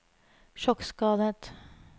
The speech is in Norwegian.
sjokkskadet